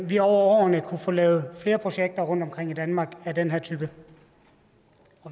vi over årene kan få lavet flere projekter rundtomkring i danmark af den her type